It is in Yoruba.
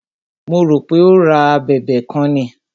Mo rò pé o ra a abẹ̀bẹ̀ kan ni.